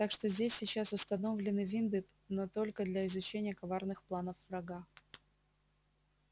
так что здесь сейчас установлены винды но только для изучения коварных планов врага